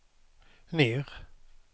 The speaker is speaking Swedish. ner